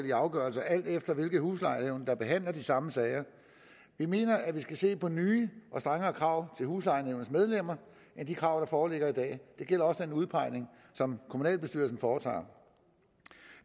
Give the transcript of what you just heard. i afgørelser alt efter hvilke huslejenævn der behandler de samme sager vi mener at vi skal se på nye og strengere krav til huslejenævnets medlemmer end de krav der foreligger i dag det gælder også den udpegning som kommunalbestyrelsen foretager